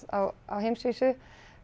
á heimsvísu